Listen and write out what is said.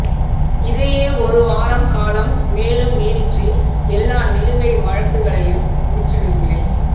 இதையே ஒரு வாரம் காலம் மேலும் நீட்டிச்சு எல்லா நிலுவை வழக்குளையும் முடிச்சுடுங்களே